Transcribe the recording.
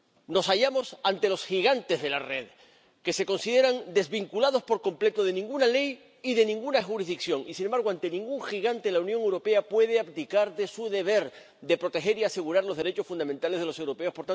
Nos hallamos ante los gigantes de la red, que se consideran desvinculados por completo de cualquier ley y de cualquier jurisdicción y, sin embargo, ante ningún gigante la Unión Europea puede abdicar de su deber de proteger y asegurar los derechos fundamentales de los europeos